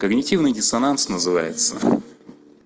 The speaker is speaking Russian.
когнитивный диссонанс называется